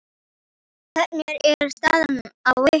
Hvernig er staðan á ykkur?